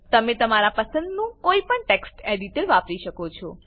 તમે તમારા પસંદનું કોઈપણ ટેક્સ્ટ એડીટર વાપરી શકો છો